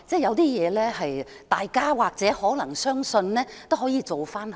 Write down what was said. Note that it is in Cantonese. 有些事情若大家或許可能相信，其實也可有所改善。